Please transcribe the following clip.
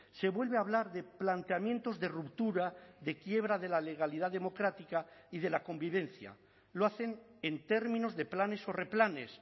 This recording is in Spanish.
se vuelve a hablar de planteamientos de ruptura de quiebra de la legalidad democrática y de la convivencia lo hacen en términos de planes o replanes